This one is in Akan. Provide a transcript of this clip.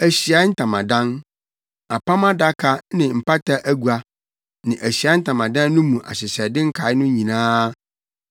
“Ahyiae Ntamadan, Apam Adaka ne mpata agua ne Ahyiae Ntamadan no mu ahyehyɛde nkae no nyinaa;